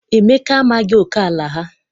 Emeka amaghị oke ala ha.